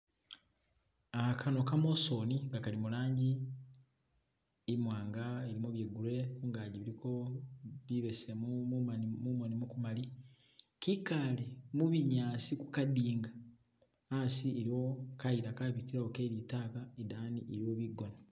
Kano kamosoni nga kali mulangi imwanga ilimo bye grey kungagi buliko bubesemu mumoni mukumali kikale mibinyaasi kukadinga hasi iliwo kayila kabitilawo kelitaka idani liliyo bigona